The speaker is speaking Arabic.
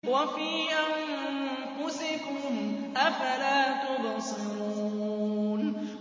وَفِي أَنفُسِكُمْ ۚ أَفَلَا تُبْصِرُونَ